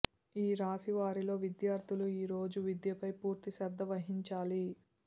ఈ రాశి వారిలో విద్యార్థులు ఈరోజు విద్యపై పూర్తి శ్రద్ధ వహించాలి